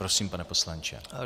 Prosím, pane poslanče.